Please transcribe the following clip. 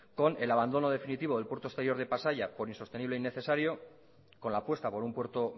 con el abandono definitivo del puerto exterior de pasaia por insostenible e innecesario con la apuesta por un puerto